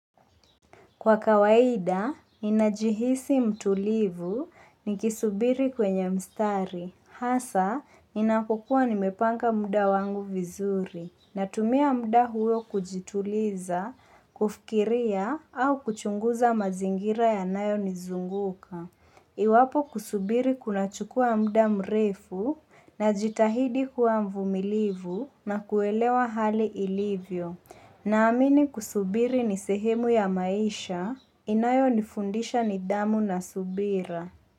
Kwa kawaida, ninajihisi mtulivu nikisubiri kwenye mstari. Hasa, inapkkua nimepanga muda wangu vizuri. Natumia muda huo kujituliza, kufikiria au kuchunguza mazingira yanayo nizunguka. Iwapo kusubiri kunachukua muda mrefu najitahidi kuwa mvumilivu na kuelewa hali ilivyo. Naamini kusubiri ni sehemu ya maisha inayo nifundisha nidhamu na subira.